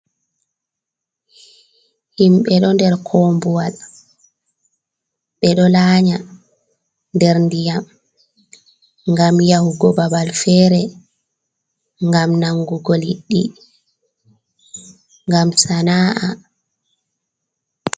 Himɓe do nder kombuwal, be do laa nya nder ndiyam, gam yahugo babal fere, gam nangugo liddi, gam sana’a.